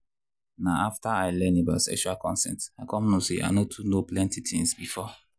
na after i learn about sexual consent i come know say i no too know plenty things before.